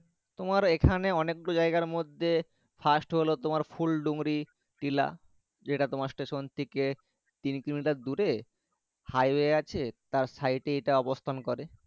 তোমার এখানে অনেক গুলো জায়গা মর্ধে fast হলো তোমার ফুল ডুঙরি টিলা যে টা তোমার station থেকে তিন কিলোমিটার দূরে হাইওয়ে আছে তার side অবস্থান করে।